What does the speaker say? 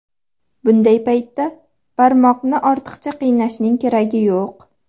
Bunday paytda barmoqni ortiqcha qiynashning keragi yo‘q.